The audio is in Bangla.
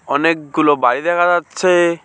অনেকগুলো বাড়ি দেখা যাচ্ছে।